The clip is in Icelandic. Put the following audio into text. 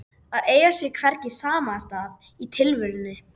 Grindvíkingur kom þar einnig, svo og Jón Vestmann